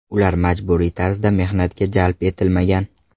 Ular majburiy tarzda mehnatga jalb etilmagan.